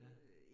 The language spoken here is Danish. Ja